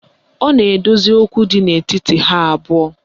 Ọ na-ekpezi okwu dị n'etiti ha abụọ